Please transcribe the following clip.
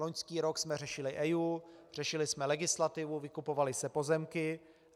Loňský rok jsme řešili EIA, řešili jsme legislativu, vykupovaly se pozemky.